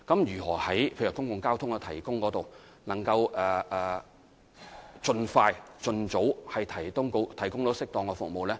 如何在公共交通方面盡快、盡早提供適當的服務呢？